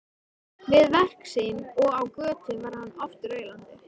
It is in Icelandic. Við verk sín og á götu var hann oft raulandi.